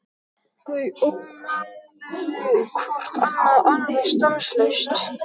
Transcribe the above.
Þau ónáðuðu hvort annað alveg stanslaust.